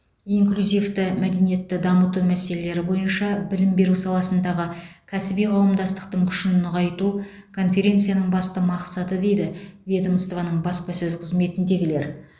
инклюзивті мәдениетті дамыту мәселелері бойынша білім беру саласындағы кәсіби қауымдастықтың күшін нығайту конференцияның басты мақсаты дейді ведомствоның баспасөз қызметіндегілер